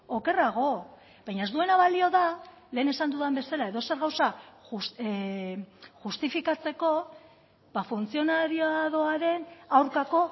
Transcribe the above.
okerrago baina ez duena balio da lehen esan dudan bezala edozer gauza justifikatzeko funtzionariadoaren aurkako